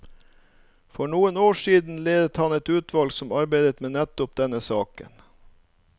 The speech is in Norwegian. For noen år siden ledet han et utvalg som arbeidet med nettopp denne saken.